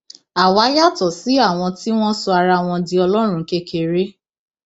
àwa yàtọ sí àwọn tí wọn sọ ara wọn di ọlọrun kékeré